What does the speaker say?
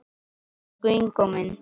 Elsku Ingó minn.